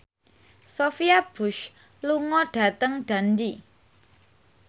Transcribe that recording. Sophia Bush lunga dhateng Dundee